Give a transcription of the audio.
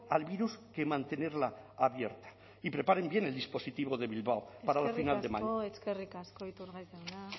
al virus que mantenerla abierta y preparen bien el dispositivo de bilbao para la final de eskerrik asko iturgaiz jauna